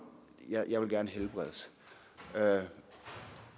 jeg vil gerne helbredes